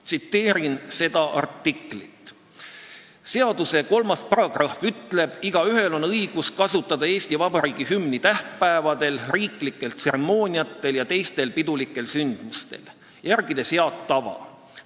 Tsiteerin seda artiklit: "Seaduse 3. paragrahv ütleb: "Igaühel on õigus kasutada Eesti Vabariigi hümni tähtpäevadel, riiklikel tseremooniatel ja teistel pidulikel sündmustel, järgides head tava.